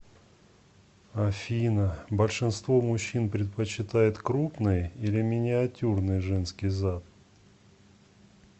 афина большинство мужчин предпочитает крупный или миниатюрный женский зад